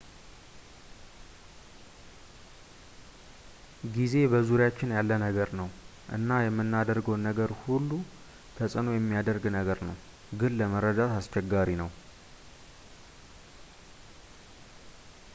ጊዜ በዙሪያችን ያለ ነገር ነው እና የምናደርገውን ነገር ላይ ሁሉ ተጽእኖ የሚያደርግ ነገር ነው ግን ለመረዳት አስቸጋሪ ነው